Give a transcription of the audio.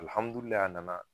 a nana.